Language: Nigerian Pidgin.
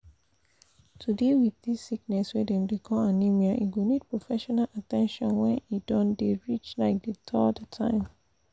to deal wit this sickness wey dem dey call anemia e go need professional at ten tion when e don dey reach like the third time